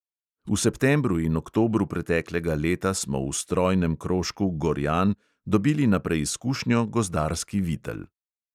V septembru in oktobru preteklega leta smo v strojnem krožku gorjan dobili na preizkušnjo gozdarski vitel.